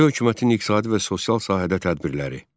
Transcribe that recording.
Milli hökumətin iqtisadi və sosial sahədə tədbirləri.